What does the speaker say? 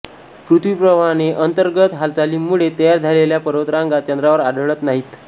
पृथ्वीप्रमाणे अंतर्गत हालचालींमुळे तयार झालेल्या पर्वतरांगा चंद्रावर आढळत नाहीत